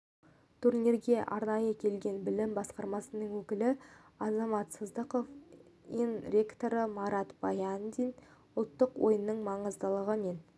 турнирге арнайы келген білім басқармасының өкілі азамат сыздықов ин ректоры марат баяндин ұлттық ойынның маңыздылығы мен